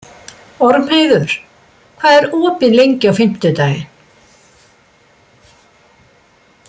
Ormheiður, hvað er opið lengi á fimmtudaginn?